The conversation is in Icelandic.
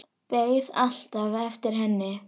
Beið alltaf eftir henni.